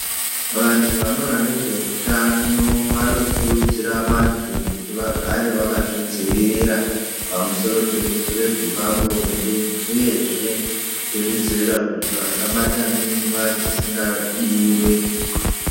Vanhu vanokona nezveutano vanokurudzira vantu kuti vagare vakazvidzivirira pamusoro pezvirwere zvepabonde uyezve kuzvidzivirira kuti vasabata mimba dzisingadiwe.